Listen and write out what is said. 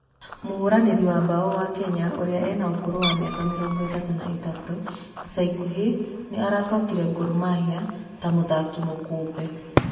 Mũhũranĩri wa mbao wa Kenya ũrĩa ena ũkũrũ wa mĩaka mĩrongo ĩtatũ na ĩtatu ica ikũhĩ nĩ aracokire Gor Mahiae ta mũthaki mũkombe.